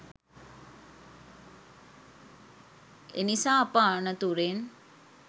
එනිසා අප අනතුරෙන්